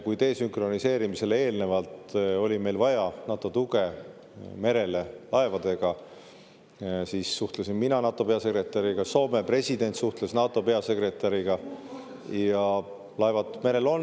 Kui meil enne desünkroniseerimist oli merel vaja NATO tuge laevadega, siis suhtlesin mina NATO peasekretäriga, Soome president suhtles NATO peasekretäriga , ja laevad merel on.